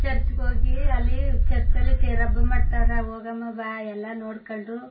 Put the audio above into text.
Church ಗ್ ಹೋಗಿ ಅಲ್ಲಿ ಚರ್ಚ್ ಅಲ್ಲಿ ತೇರಬ್ ಮಾಡತ್ತರೆ ಹೋಗಮ್ಮ ಬಾ ಎಲ್ಲಾ ನೋಡಕೊಂಡು.